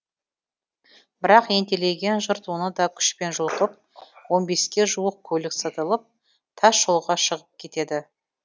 бірақ ентелеген жұрт оны да күшпен жұлқып он беске ке жуық көлік сытылып тасжолға шығып кетеді